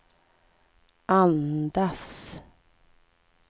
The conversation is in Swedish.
andas